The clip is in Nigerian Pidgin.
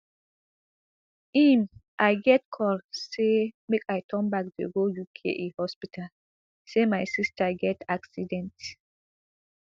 im i get call say make i turn back dey go uke hospital say my sister get accident